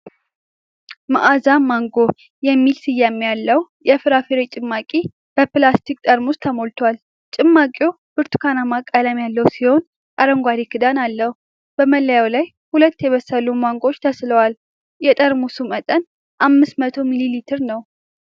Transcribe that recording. "ማዓዛ ማንጎ" የሚል ስያሜ ያለው የፍራፍሬ ጭማቂ በፕላስቲክ ጠርሙስ ተሞልቷል። ጭማቂው ብርቱካናማ ቀለም ያለው ሲሆን፣ አረንጓዴ ክዳን አለው። በመለያው ላይ ሁለት የበሰሉ ማንጎዎች ተስለዋል። የጠርሙሱ መጠን 500 ሚሊ ሊትር ነው።